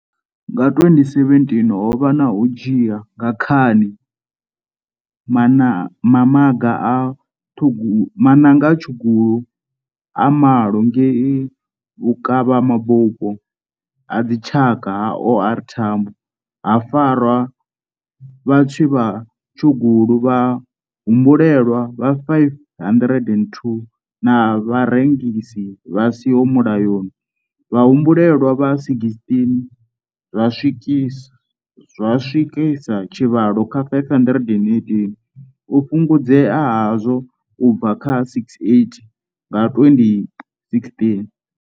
Nga 2017 ho vha na u dzhia nga khani maṋanga a tshugulu a malo ngei Vhukavhamabupo a Dzitshaka ha OR Tambo, ha farwa vhatswi vha tshugulu vha humbulelwaho vha 502 na vharengisi vha siho mulayoni vha humbulelwaho vha 16, zwa swikisa tshivhalo kha 518, u fhungudzea hazwo u bva kha 680 nga 2016.